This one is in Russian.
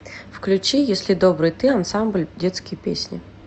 включи если добрый ты ансамбль детские песни